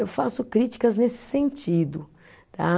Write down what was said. Eu faço críticas nesse sentido, tá?